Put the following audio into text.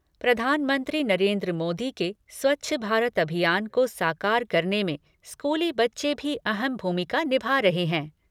प्रधानमंत्री नरेंद्र मोदी के स्वच्छ भारत अभियान को साकार करने में स्कूली बच्चे भी अहम भूमिका निभा रहे हैं।